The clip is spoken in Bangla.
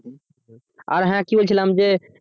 আর হ্যাঁ কি বলছিলাম যে